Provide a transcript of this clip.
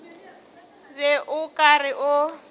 be o ka re o